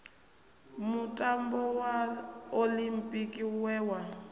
mutambo wa oḽimpiki we wa